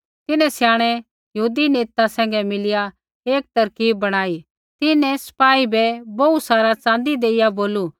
तिन्हैं स्याणै यहूदी नेता सैंघै मिलिया एक तरकीब बणाई तिन्हैं सपाई बै बोहू सारा च़ाँदी देइया बोलू